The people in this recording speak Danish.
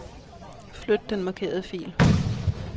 Flyt den markerede fil.